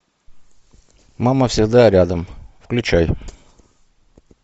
мама всегда рядом включай